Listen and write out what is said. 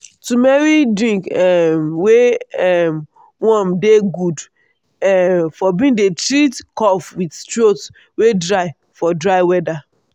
turmeric drink um wey um warm dey good um for bin dey treat cough with throat wey dry for dry weather.